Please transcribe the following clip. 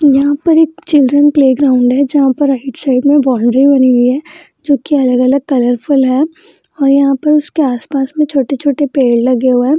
यहां पर एक चिल्ड्रन प्ले ग्राउंड है जहां पर राइट साइड में बाउंड्री बनी हुई है जो की अलग-अलग कलरफुल है और यहां पर उसके आस-पास में छोटे-छोटे पेड़ लगे हुए हैं।